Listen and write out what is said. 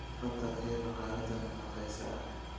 badda kee baa qaarada nafaqaysa ha